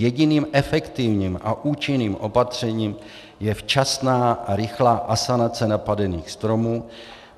Jediným efektivním a účinným opatřením je včasná a rychlá asanace napadených stromů.